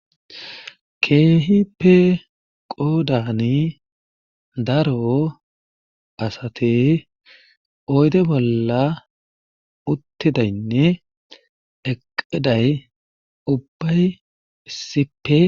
keehipe qoodani daro asate oyde bolla uttidaynne eqeday ubbay issipe